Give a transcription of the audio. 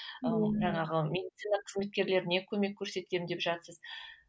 ыыы жаңағы медицина қызметкерлеріне көмек көрсетемін деп жатырсыз